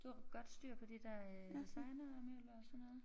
Du har godt styr på de der øh designermøbler og sådan noget